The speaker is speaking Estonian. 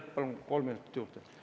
Palun kolm minutit juurde!